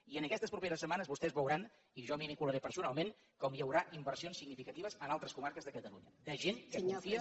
i en aquestes properes setmanes vostès veuran i jo m’hi vincularé personalment com hi haurà inversions significatives en altres comarques de catalunya de gent que confia